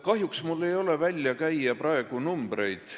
Kahjuks mul ei ole praegu võimalik numbreid välja käia.